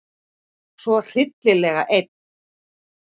Svo hryllilega einn.